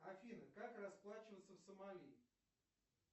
афина как расплачиваться в сомали